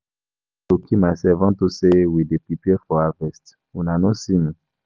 I no go kill myself unto say we dey prepare for harvest.. Una no see me.